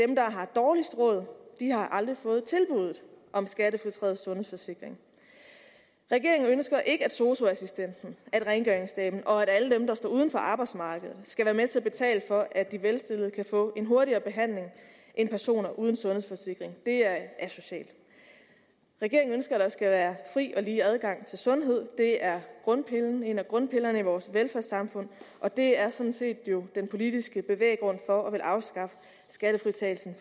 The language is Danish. dem der har dårligst råd har aldrig fået tilbuddet om skattefritaget sundhedsforsikring regeringen ønsker ikke at sosu assistenten at rengøringsdamen og at alle dem der står uden for arbejdsmarkedet skal være med til at betale for at de velstillede kan få en hurtigere behandling end personer uden sundhedsforsikring det er asocialt regeringen ønsker at der skal være fri og lige adgang til sundhed det er en af grundpillerne i vores velfærdssamfund og det er jo sådan set den politiske bevæggrund for at ville afskaffe skattefritagelsen